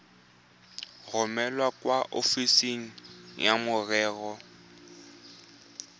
romele kwa ofising ya merero